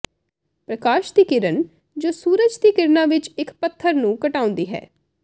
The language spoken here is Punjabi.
ਪ੍ਰਕਾਸ਼ ਦੀ ਕਿਰਨ ਜੋ ਕਿ ਸੂਰਜ ਦੀ ਕਿਰਨਾਂ ਵਿੱਚ ਇੱਕ ਪੱਥਰ ਨੂੰ ਘਟਾਉਂਦੀ ਹੈ